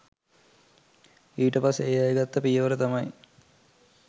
ඊට පස්සේ ඒ අය ගත්ත පියවර තමයි